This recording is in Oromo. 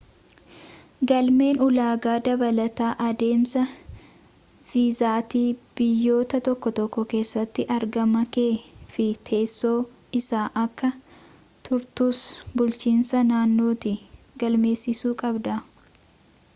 galmeen ulaagaa dabalataa adeemsa viizaati biyyoota tokko tokko keessatti argama kee fi teesso eessa akka turtuus bulchiinsa naannootti galmeessisuuu qabda